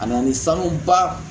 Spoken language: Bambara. A na ni sanuba